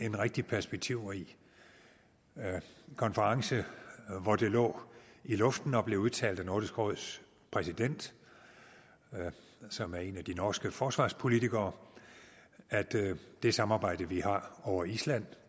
en rigtig perspektivrig konference hvor det lå i luften og blev udtalt af nordisk råds præsident som er en af de norske forsvarspolitikere at det samarbejde vi har over island